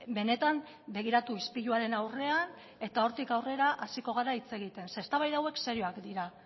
benetan begiratu ispiluaren aurrean eta hortik aurrera hasiko gara hitz egiten zeren eta eztabaida hauek serioak dira